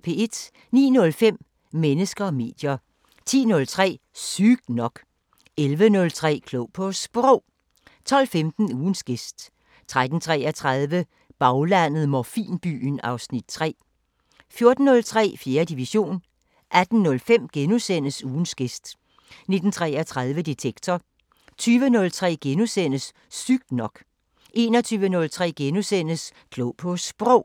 09:05: Mennesker og medier 10:03: Sygt nok 11:03: Klog på Sprog 12:15: Ugens gæst 13:33: Baglandet: 'Morfinbyen' (Afs. 3) 14:03: 4. division 18:05: Ugens gæst * 19:33: Detektor 20:03: Sygt nok * 21:03: Klog på Sprog *